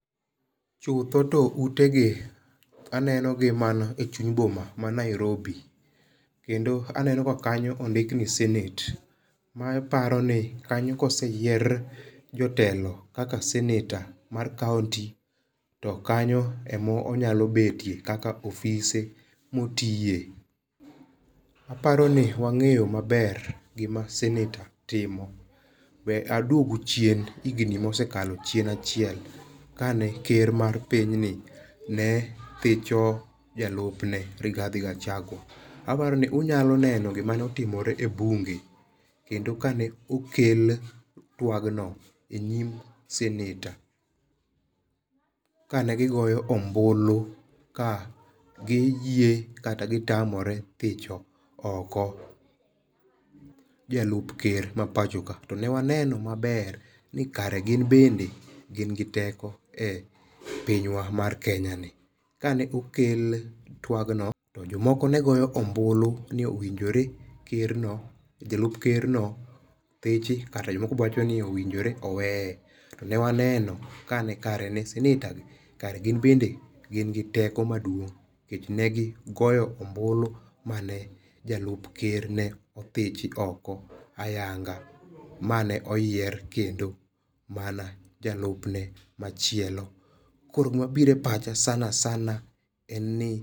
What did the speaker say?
Chutho to utegi, aneno gi mana e chuny boma ma Nairobi, kendo aneno ka kanyo ondik ni senate, maparo ni kanyo koseyier jotelo kaka seneta mar kaunti to kanyo ema onyalo betie kaka ofise motiye, aparono wange'yo maber gima seneta timo we aduogo chien higni mosekalo chien achiel, kane ker mar pinyni ne thicho jalupne Rigathi Gachagua, aparoni unyalo neno gima ne otimore e bunge, kendo kane okel twagno e nyim [sc]seneta, kane gigoyo ombulu ka giyie kata gitamore thicho oko jalup ker mapacho kae to ne waneno maber ni kare gin bende gin gi teko e pinywa mar Kenyani kane okel twagno, to jomoko ne goyo ombulu ni owinjore kerno jalup kerno thichi kata jomoko bende wachoni owinjore oweye, to newaneno kane kare ne seneta kare gin bende gin gi teko maduong', nikech negigoyo ombulu mane jalup ker ne othichi oko ayanga' mano oyier kendo mana jalupne machielo koro gima biro e pacha sana sana en ni